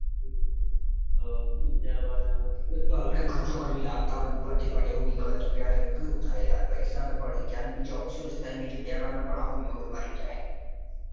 અઅ ત્યારબાદ એકતો આપડે ખર્ચો કરીને લાવતા હોયને ઉપરથી પણ એવું નીકળે તો ક્યારે કેટલું થાય યાર પૈસા પણ પડી જાય ને તહેવારનો પણ mood મારી જાય.